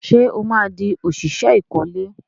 Ṣé ó máa di òṣìṣẹ́ ìkọ́lé?